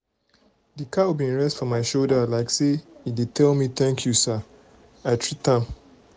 di cow bin rest for my shoulder like say e dey tell me thank you say i treat am.